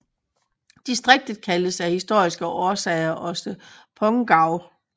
Distriktet kaldes af historiske årsager også Pongau